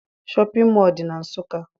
Shọpịn mọọ dị na Nsụka